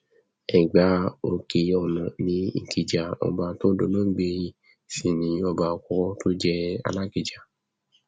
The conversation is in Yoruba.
ẹgbà òkèọnà ni ìkìjà ọba tó dolóògbé yìí sì ni ọba àkọkọ tó jẹ alákija